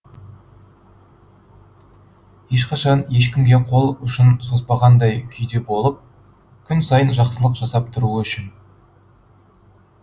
ешқашан ешкімге қол ұшын созбағандай күйде болып күн сайын жақсылық жасап тұруы үшін